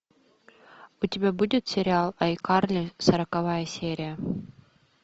у тебя будет сериал айкарли сороковая серия